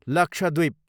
Lakshadweep